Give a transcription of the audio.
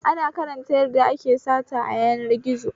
Ina karanta yadda ake sata a yanar gizo